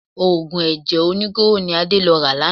Òògùn ẹ̀jẹ̀ oníkóró ni Ade lò lánàá.